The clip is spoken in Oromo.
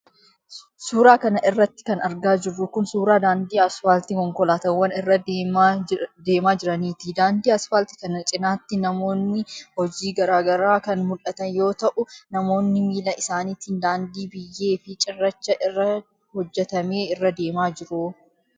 Suura kana irratti kan argaa jirru kun ,suura daandii asfaaltii konkolaataawwan irra deemaa jiraniiti. Daandii asfaaltii kana cinaatti manoonni hojii garaa garaa kan mul'atan yoo ta'u, namoonnis miila isaaniitiin daandii biyyee fi cirracha irraa hojjatame irra deemaa jiru.